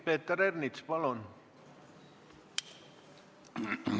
Peeter Ernits, palun!